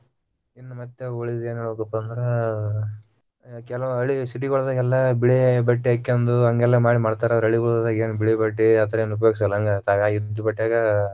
ಇನ್ನ ಮತ್ತ ಉಳಿದಿದ್ದ ಏನ ಹೇಳ್ಬೇಕ ಅಂದ್ರ ಅಹ್ ಕೆಲವು ಹಳ್ಳಿ city ಗಳದಾಗೆಲ್ಲ ಬಿಳಿ ಬಟ್ಟೆ ಹಕೊಂದು ಹಂಗೆಲ್ಲಾ ಮಾಡಿ ಮಾಡ್ತಾರ ಹಳ್ಳಿಗಳಿಗ ಹೋದಾಗ ಏನ ಬಿಳೆ ಬಟ್ಟೆ ಉಪಯೋಗಿಸಲ್ಲ ಹಂಗ ಇದ್ದ ಬಟ್ಟ್ಯಾಗ.